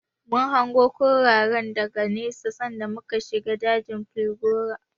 Mun hango kurayen daga nesa sanda muka wuce dajin falgore.